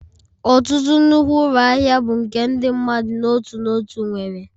Ọtụtụ nnukwu ụlọ ahịa bụ nke ndị mmadụ n'otu n'otu nwere